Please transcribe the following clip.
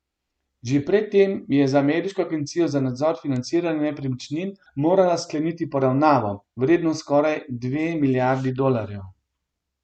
Že pred tem je z ameriško agencijo za nadzor financiranja nepremičnin morala skleniti poravnavo, vredno skoraj dve milijardi dolarjev.